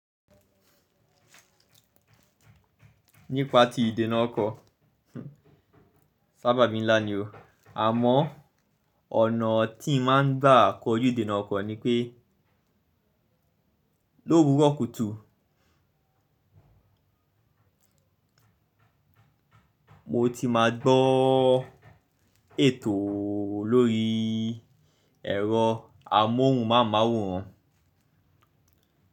Nípa ti ìdènà ọkọ, sábàbí ńlá ni o, àmọ́ ọ̀nà tí ń máa ń gbà kọ ojú ìdènà ọkọ̀ ni pé lówú rọkùtù mo ti máa gbọ́ ètò lórí ẹ̀rọ amóhùnmáwòrán.